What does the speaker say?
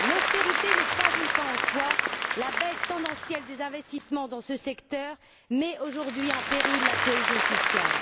L'austérité n'est pas une fin en soi, la baisse tendancielle des investissements dans ce secteur met, aujourd'hui, en péril la cohésion sociale.